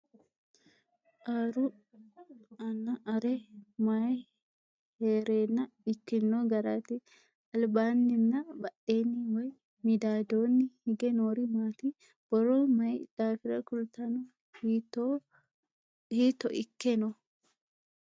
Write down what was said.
Aruu nna aree may heerenna ikkinno garaatti? alibbanni nna badheenni woy midaadonni hige noori maatti? Borro mayi daafirra kulittanno? hiitto ikke noo?